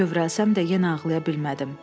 Kövrəlsəm də yenə ağlaya bilmədim.